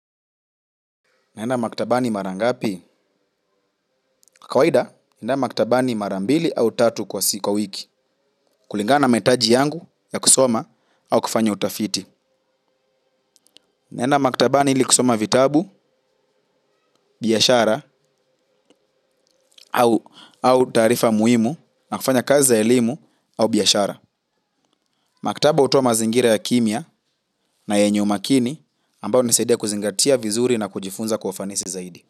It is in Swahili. Naenda maktabani mara ngapi, kawaida, naenda maktabani mara mbili au tatu kwa wiki, kulingana na mahitaji yangu ya kusoma au kufanya utafiti. Naenda maktabani ili kusoma vitabu, biashara au taarifa muhimu nafanya kazi za elimu au biashara. Maktaba hutoa mazingira ya kimya na yenye umakini ambao hunisaidia kuzingatia vizuri na kujifunza kwa ufanisi zaidi.